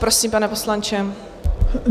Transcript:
Prosím, pane poslanče.